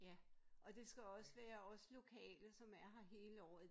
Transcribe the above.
Ja og det skal også være os lokale som er her hele året